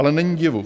Ale není divu.